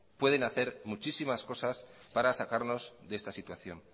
pueden hacer muchísimas cosas para sacarnos de esta situación